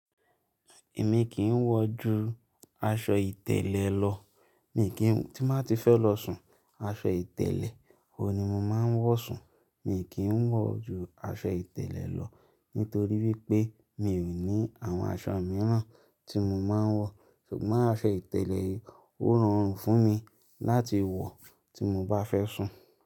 Èmi kì ń wọ̀ ju aṣọ ìtẹ̀lẹ̀ lọ, mi kì ń, tí mà ti fẹ́ lọ sùn, aṣọ ìtẹ̀lẹ̀ wo ni mà máa ń wọ̀ sùn. Mi kì ń wọ̀ ju aṣọ ìtẹ̀lẹ̀ lọ nítorí wípé mi ò ní àwọn aṣọ mìíràn tí mo máa ń wọ̀, ṣùgbọ́n aṣọ ìtẹ̀lẹ̀ wo ran fún mi láti wọ̀ tí mo bá fẹ́ sùn.